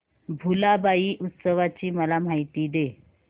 भुलाबाई उत्सवाची मला माहिती दे